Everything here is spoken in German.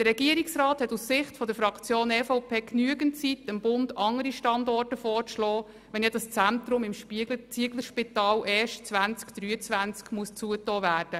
Der Regierungsrat hätte aus Sicht der Fraktion EVP genügend Zeit, dem Bund andere Standorte vorzuschlagen, wenn ja das Zentrum im Zieglerspital erst 2023 geschlossen wird.